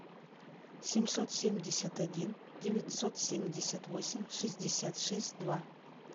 семьсот семьдесят один девятьсот семьдесят восемь шестьдесят шесть два